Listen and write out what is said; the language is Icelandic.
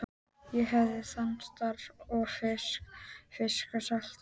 Ég hafði þann starfa að þvo fiskinn og salta hann.